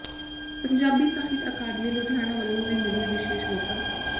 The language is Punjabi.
ਪੰਜਾਬੀ ਸਾਹਿਤ ਅਕਾਡਮੀ ਲੁਧਿਆਣਾ ਵੱਲੋਂ ਵੀ ਮਿਲਿਆ ਵਿਸ਼ੇਸ਼ ਵਫਦ